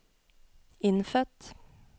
innfødt